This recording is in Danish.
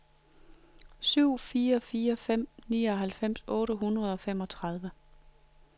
syv fire fire fem nioghalvfems otte hundrede og femogtredive